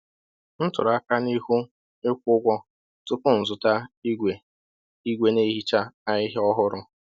M tụrụ aka n’ihu ịkwụ ụgwọ tupu m zụta igwe igwe na-ehicha ahịhịa ọhụrụ.